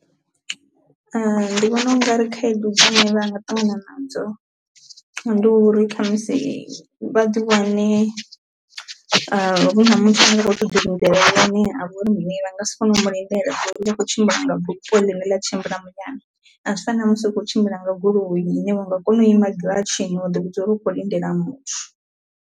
ndi vhona u nga ri khaedu dzine vha nga ṱangana nadzo ndi uri kha musi vha ḓi wane hu na muthu ano kho to ḓi ha vha uri mini vha nga si kone u lindela ngauri vha khou tshimbila nga bupho ḽine ḽa tshimbila muyani a zwi fani na musi u khou tshimbila nga goloi ine vha nga kona u ima giratshini wa ḓi vhudza uri u kho lindela muthu.